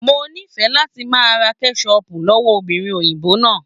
Mo ní fẹ láti máa ra kẹsọpu lọwọ obìnrin òyìnbó náà.